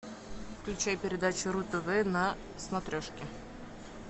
включай передачу ру тв на смотрешке